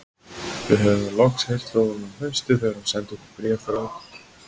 Við höfðum loks heyrt frá honum um haustið þegar hann sendi okkur bréf frá